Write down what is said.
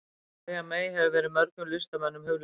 María mey hefur verið mörgum listamönnum hugleikin.